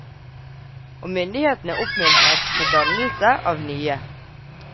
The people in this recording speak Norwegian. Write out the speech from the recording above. Og myndighetene oppmuntrer til dannelse av nye.